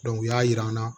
u y'a jira an na